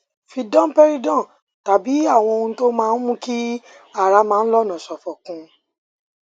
fi domperidone tàbí àwọn ohun tó ń mú kí ara máa ń lọnà ṣòfò kún un